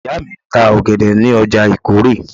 Ìyá mi ń ta ọ̀gẹ̀dẹ̀ ní ọjà ìkórè